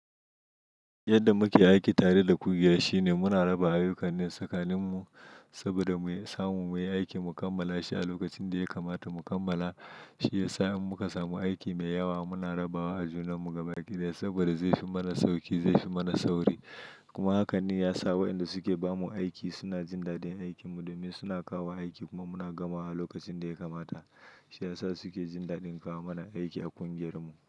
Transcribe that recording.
Yadda muke aiki tare da ƙungiya shine muna raba ayyukan ne tsakaninmu saboda mu samu muyi aiki mu kammala shi a lokacin da ya kamata mu kammala. Shi yasa in muka samu aiki mai yawa muna rabawa a junanmu, gabaƙi ɗaya saboda zai fi mana sauki, zai fi mana sauri. Kuma hakan ne ya sa wayanda suke ba mu aiki suna jin daɗin aikinmu domin suna kawo aiki kuma muna gamawa a lokacin da ya kamata. Shi ya sa suke jin daɗin kawo mana aiki a ƙungiyarmu.